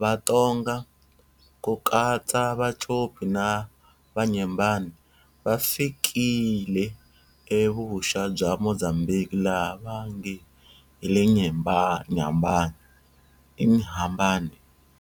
vaTonga, ku katsa Vacopi na Vanyembane, va fikile e Vuxa bya Mozambique laha va nge hi le Nyambane, Inhambane.